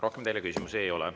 Rohkem teile küsimusi ei ole.